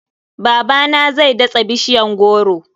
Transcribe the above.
Babana zai datsa bishiyan goro.